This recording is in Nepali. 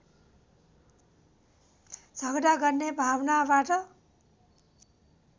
झगडा गर्ने भावनाबाट